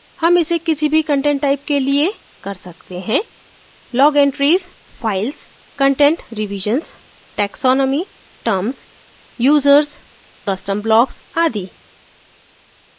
हम इसे किसी भी content type के लिए कर सकते हैं – log entries files content revisions taxonomy terms users custom blocks आदि